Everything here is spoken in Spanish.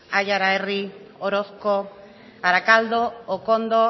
aiara herri orozko arakaldo okondo